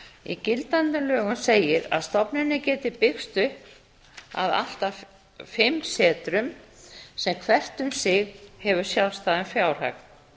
í gildandi lögum segir að stofnunin geti byggst upp af allt að fimm setrum sem hvert um sig hafi sjálfstæðan fjárhag